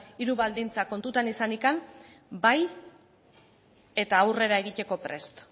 hiru baldintzak kontutan izanik bai eta aurrera egiteko prest